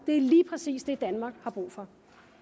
det er lige præcis det danmark har brug for